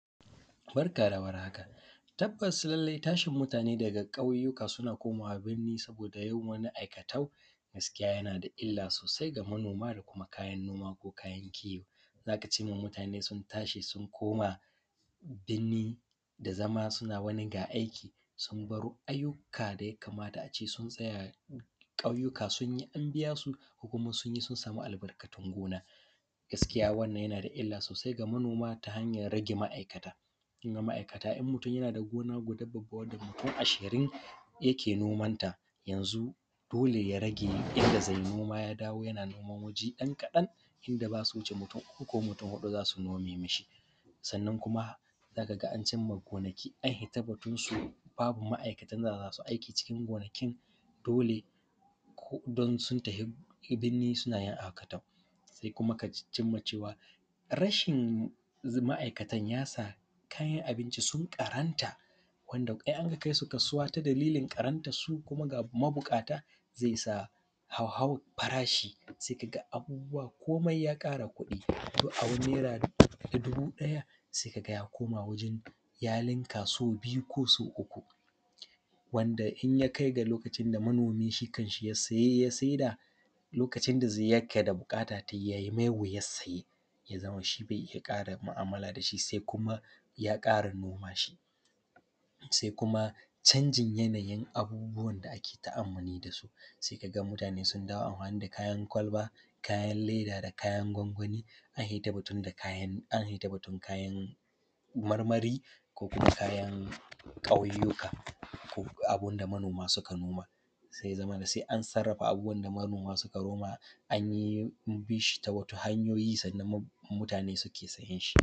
Barka da warhaka tabbasa lallai tashin mutane da ƙauyuka suna komawa burni saboda wani aikatau suna da illa sosai da manoma da kuma kayan noma ko kayan kiwo, za ka cinma mutane sun tashi sun koma binni da zama suna wani ga aiki sun bar wasu ayyuka da ya kamata a ce sun tsaya ƙauyuka sun yi an biya su ko kuma sun yi sun samu albarkatun gona. Gaskiya wanna yana da illa sosai ga manoma ta hanyan rage ma’aikata, in mutum yana da gona guda mutum ashirin yake nomanta yanzu dole ya rage yanda ze noma ya dawo yana noma ɗan kaɗan, inda ba su wuce mutum uku ko huɗu za su yi noman shi ba. Sannan kuma za a cinma gonaki an fita batunsu, babu ma’aikatan da za su yi aiki cikin gonakin dole in sun tafi binni suna aikatau yanzu ma’aikatan ya sa kayan abinci sun ƙaranta wanda in aka kai su kasuwa ta dalilin ƙarantansu, kuma ga mabuƙata ze sa hauhawan farashi, se ka ga abubuwa komai ya ƙara kuɗi. To, abun nera dubu ɗaya se ka ga ya ninka saubiyu ko sauuku wanda in yakai da lokacin da shi kanshi manomi ya saye ya saida lokacin da yake da buƙatar taimako ya sai ya zama shi be ƙara mu’ammala da shi se kuma ya ƙara noma shi. Se kuma canjin yanayi abubuwan da ake ta’ammuli da su se ka ga mutane sun dawo da amfani da kayan kwalba, kayan leda da kayan gwangwani. An fito da ita da batun kayan marmari ko kuma kayan ƙauyuka ko abun da manoma suka noma se ya zamana an sarrafa abubuwan da manoma suka noma, an bi shi ta wata hanyoyi sannan mutane suke sayan shi.